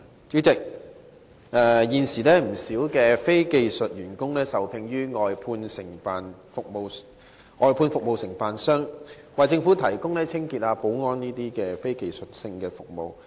主席，現時，有不少非技術員工受聘於外判服務承辦商，為政府部門提供清潔及保安等非技術服務。